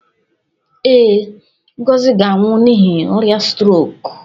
Ee, Ngozi ga-anwụ n'ihi ọrịa strok.